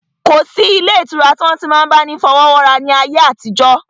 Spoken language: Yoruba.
Kò sí ǹkankan ilé ìtura tí wọ́n ti n máa bá ni fọwọ́wọ́ra ní ayé àtijọ́